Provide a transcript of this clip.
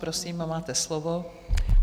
Prosím, máte slovo.